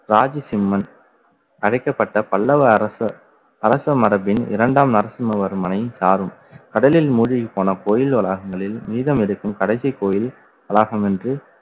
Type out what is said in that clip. ராஜசிம்மன் அழைக்கப்பட்ட பல்லவ அரசர் அரச மரபின் இரண்டாம் நரசிம்மவர்மனை சாரும் கடலில் மூழ்கிப் போன கோவில் வளாகங்களில் மீதம் எடுக்கும் கடைசி கோயில் வளாகம் என்று